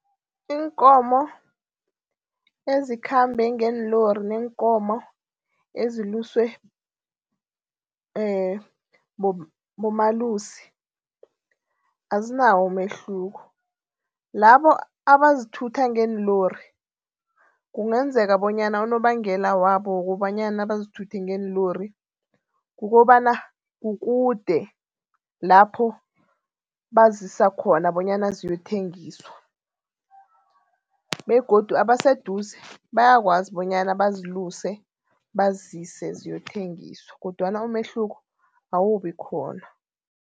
Iinkomo ezikhambe ngeenlori neenkomo eziluswe bomalusi azinawo umehluko. Labo abazithutha ngeenlori kungenzeka bonyana unobangela wabo wokobanyana bazithuthe ngeelori. Kukobana kukude lapho bazisa khona bonyana ziyothengiswa begodu abaseduze bayakwazi bonyana baziluse bazise ziyothengiswa kodwana umehluko awubikhona.